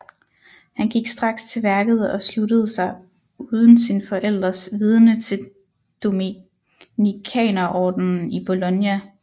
Han gik straks til værket og sluttede sig uden sine forældres vidende til dominikanerordenen i Bologna